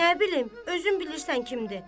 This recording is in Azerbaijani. Nə bilim, özün bilirsən kimdir.